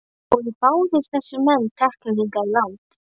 Voru báðir þessir menn teknir hingað í land.